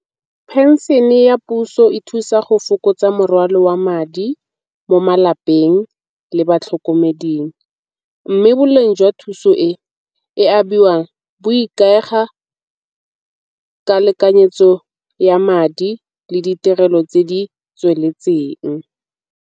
Phenšene ya puso e thusa go fokotsa morwalo wa madi mo malapeng le batlhokomeding. Mme boleng jwa thuso e e abiwang bo ikaega ka lekanyetso ya madi le ditirelo tse ditsweletseng.